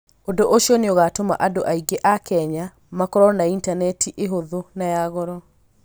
Ũndũ ũcio nĩ ũgatũma andũ aingĩ a Kenya makorũo na Intaneti ihũthũ na ya goro.